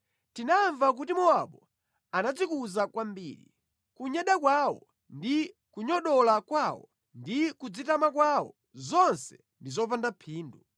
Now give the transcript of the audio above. Tinamva kuti Mowabu anadzikuza kwambiri. Kunyada kwawo ndi kunyogodola kwawo ndi kudzitama kwawo, zonse ndi zopanda phindu.